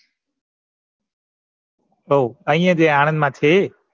ઓહ ઐયા જે આણંદ મા છે એ